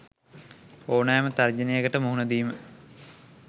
ඕනෑම තර්ජනයකට මුහුණ දීම